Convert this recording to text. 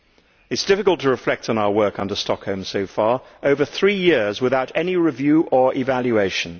It is difficult to reflect on our work under Stockholm so far over three years without any review or evaluation.